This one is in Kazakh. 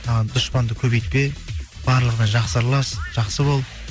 і дұшпанды көбейітпе барлығына жақсы аралас жақсы бол